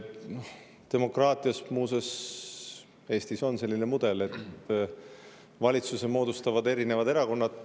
Demokraatias, muuseas, Eestis on selline mudel, et valitsuse moodustavad erinevad erakonnad.